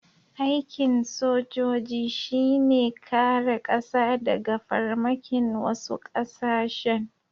Aikin sojoji shi ne kare ƙasa daga farmakin wasu ƙasashen.